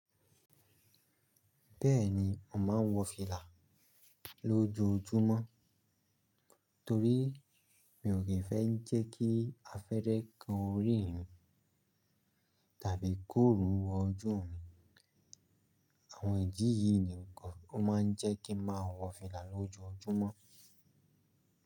Bẹ́ẹ̀ni, mo máa ń wọ fìlà lójoojúmọ́. Torí mi i kí ń fẹ́ jẹ́ kí afẹ́rẹ́ kan orí mi tàbí k'órun wọ oju mi. Àwọn ìdi yìí nìkan ó máa ń jẹ́ kí n máa wọ fìlà lójoojúmọ́.